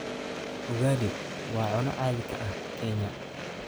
Ugali waa cunno caadi ka ah Kenya.